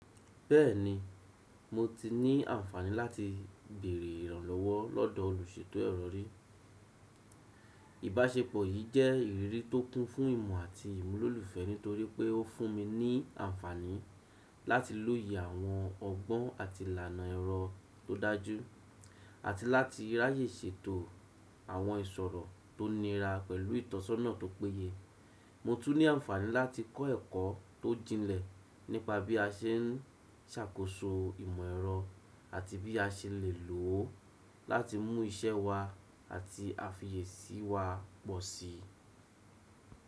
Bẹ́ẹ̀ni, mo ti ní àǹfààní láti bèèrè ìrànlọ́wọ́ lọ́dọ̀ olùṣètò ẹ̀rọ rì. Ìbáṣepọ̀ yì jẹ́ ìrírí tó kún fún ìmọ̀ àti ìmúlò olùfẹ́ nítorí pé ó fún mi ní àǹfààní láti lóye àwọn ọgbọ́n àti ìlànà ẹ̀rọ tó dájú, àti láti ráyè ṣètò àwọn ìṣòro tó nira pẹ̀lú ìtọ́sọ́nà tó péye. Mo tún ní àǹfààní láti kọ́ ẹ̀kọ́ tó jinlẹ̀ nípa bí a ṣe ń ṣàkóso ìmọ̀ ẹ̀rọ àti bí a ṣe lè lò ó láti mú iṣẹ́ wa àti àfiyesí wa pọ̀ sí.